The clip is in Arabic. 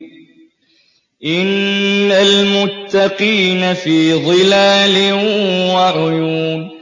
إِنَّ الْمُتَّقِينَ فِي ظِلَالٍ وَعُيُونٍ